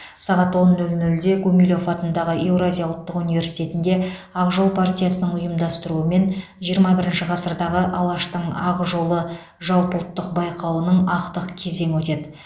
сағат он нөл нөлде гумилев атындағы еуразия ұлттық университетінде ақ жол партиясының ұйымдастыруымен жирма бірінші ғасырдағы алаштың ақ жолы жалпыұлттық байқауының ақтық кезеңі өтеді